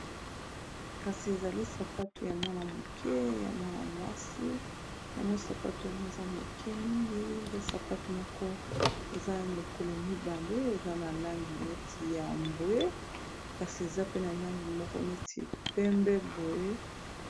ezali sapatu ya mwana-moke ya mwana mwasi yango sapatu yango eza moke mingi eza sapatu moko eza lokolo mibale eza na langi neti ya bwe kasi eza pe na langi moko neti pembe boye